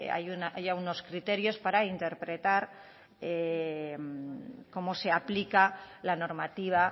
haya unos criterios para interpretar cómo se aplica la normativa